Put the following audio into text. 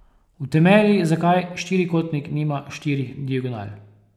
Utemelji, zakaj štirikotnik nima štirih diagonal.